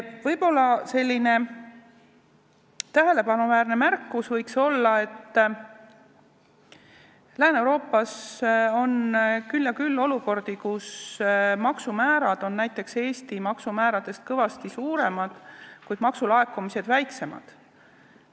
Võib-olla veel selline tähelepanuväärne märkus, et Lääne-Euroopas on küll ja küll olukordi, kus maksumäärad on Eesti maksumääradest kõvasti kõrgemad, kuid maksulaekumised on väiksemad.